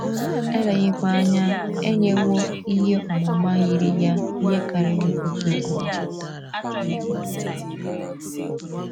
Eleghịkwa anya, e nyewo ihe ọmụma yiri ya ihe karịrị otu ugboro.